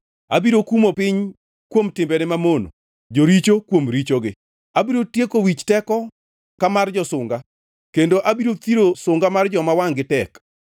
Abiro kumo piny kuom timbene mamono, joricho kuom richogi. Abiro tieko wich teko ka mar josunga kendo abiro thiro sunga mar joma wangʼ-gi tek.